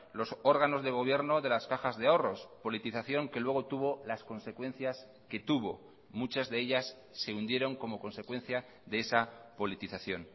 los órganos de gobierno de las cajas de ahorros politización que luego tuvo las consecuencias que tuvo muchas de ellas se hundieron como consecuencia de esa politización